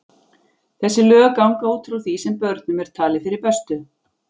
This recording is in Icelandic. Þessi lög ganga út frá því sem börnum er talið fyrir bestu.